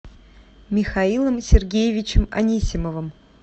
михаилом сергеевичем анисимовым